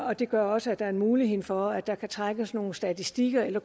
og det gør også at der er mulighed for at der kan trækkes nogle statistikker eller